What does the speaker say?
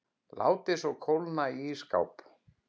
Látið svo kólna í ísskáp.